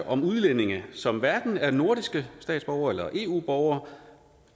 om udlændinge som hverken er nordiske statsborgere eller eu borgere